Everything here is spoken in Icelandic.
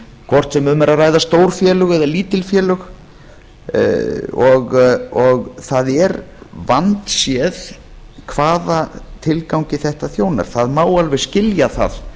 hvort sem um er að ræða stór félög eð lítil félög það er vandséð hvaða tilgangi þetta þjónar það má alveg skilja það